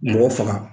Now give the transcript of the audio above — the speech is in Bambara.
Mɔgɔ faga